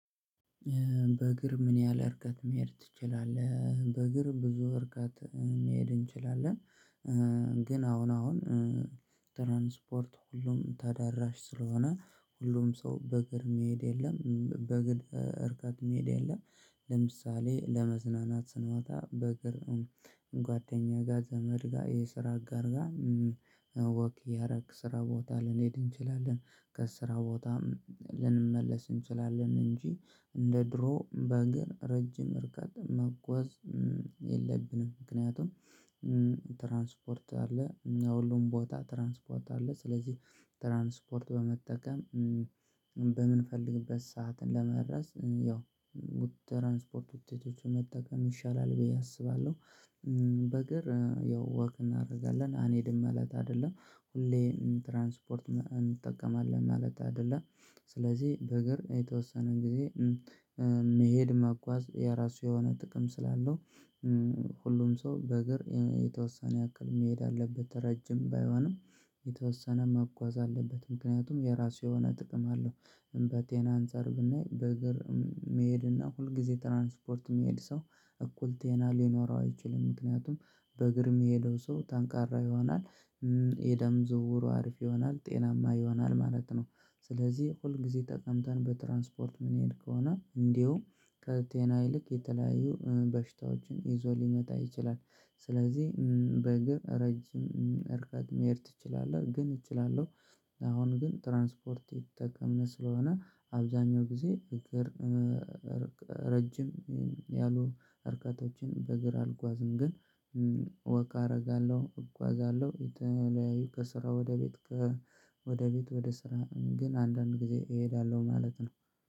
በእግር ምን ያህል እርቀት መሄድ ትችላለህ? በእግር ብዙ እርቀት መሄድ እንችላለን። ግን አሁን አሁን ትራንስፖርት ሁሉም ተዳራሽ ስለሆነ ሁሉም ሰው በእግር የሚሄድ የለም በእግር እርቀት የሚሄድ የለም። ለምሳሌ ለመዝናናት ስንወጣ በእግር ጓደኛዬ ጋር ዘመድ ጋር የስራ አጋር ጋር ወክ እያረግን ስራ ቦታ ልንሄድ እንችላለን። ከስራ ቦታም ልንመለስ እንችላለን እንጂ እንደ ድሮ በእግር ረጅም እርቀት መጓዝ። የለብንም ምክንያቱም ትራንስፖርት አለ። ያው ሁሉም ቦታ ትራንስፖርት አለ። ስለዚህ ትራንስፖርት በመጠቀም በምንፈልግበት ሰዓትን ለመድረስ ያው ትራንስፖርት ትህትና መጠቀም ይሻላል ብዬ አስባለሁ። በእግር ያው ወክ እናደርጋለን አንሄድም እለት አይደለም ሁሌ ትራንስፖርት እንጠቀማለን ማለት አይደለም። ስለዚህ በእግር የተወሰነ ጊዜ መሄድ መጓዝ የራሱ የሆነ ጥቅም ስላለው ሁሉም ሰው በእግር የተወሰነ ያክል መሄድ አለበት። ረጅም ባይሆንም የተወሰነ መጓዝ አለበት ምክንያቱም የራሱ የሆነ ጥቅም አለው። እና ከጤና አንፃር ብናይ በእግር መሄድ እና ሁልጊዜ ትራንስፖርት የሚሄድ ሰው እኩል ጤና ሊኖረው አይችልም። ምክንያቱም በእግር የሚሄደው ሰው ጠንካራ ይሆናል። የደም ዝውውሩ አሪፍ ይሆናል ጤናማ ይሆናል ማለት ነው። ስለዚህ ሁል ጊዜ ተቀምጠን በትራንስፖርት ምን ይሄድ ከሆነ እንደው ከጤና ይልቅ የተለያዩ በሽታዎችን ይዞ ሊመጣ ይችላል። ስለዚህ በእግር ረጅም እርቀት መሄድ ትችላለህ ግን እችላለሁ? አሁን ግን ትራንስፖርት እየተጠቀምን ስለሆነ አብዛኛው ጊዜ እግር ረጅም ያሉ እርቀቶዎችን በእግር አልጓዝም። ግን ወክ አደርጋለሁ እጓዛለሁ የተለያዩ ከስራ ወደ ቤት። ወደ ቤት ወደ ስራ ግን አንዳንድ ጊዜ እሄዳለሁ ማለት ነው።